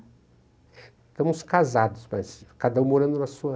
Estamos casados, mas cada um morando na sua.